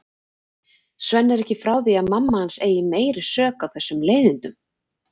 Svenni er ekki frá því að mamma hans eigi meiri sök á þessum leiðindum.